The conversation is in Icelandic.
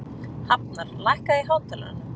Hafnar, lækkaðu í hátalaranum.